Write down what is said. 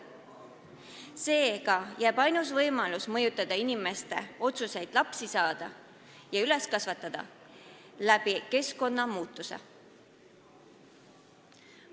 Seega on ainus võimalus mõjutada inimeste otsust lapsi saada ja üles kasvatada keskkonna muutmise abil.